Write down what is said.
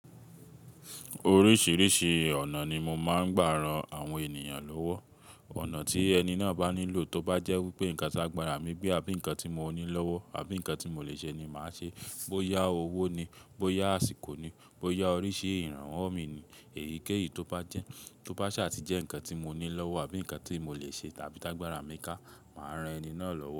Oríṣìíríṣìí ọ̀nà ni mo máa ń gbà ran àwọn ènìyàn lọ́wọ́. Ọ̀nà tí ẹni náà bá nílò tó bá jẹ́ wípé nǹkan tágbàrà mi gbe abí nǹkan tí mo ní lọ́wọ́ àbí nǹkan tí mo lè ṣe ni màá ṣe. Boya owó ni, boya àsìkò ni, boya oríṣi ìrànwọ́ mi ni èyíkéyìí tó bá jẹ́, tó bá ṣà tìjẹ́ nǹkan tí mo ní lọ́wọ́ àbí nǹkan tí mo lè ṣe tàbí tágbàrà mi ká, màá ran ẹni náà lọ́wọ́.